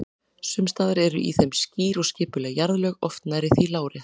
Sums staðar eru í þeim skýr og skipuleg jarðlög, oft nærri því lárétt.